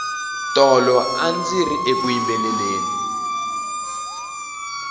tolo andziri eku yimbeleleni